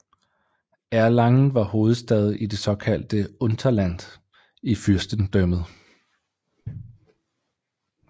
Erlangen var hovedstad i det såkaldte Unterland i fyrstedømmet